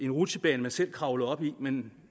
rutsjebane man selv kravlede op i men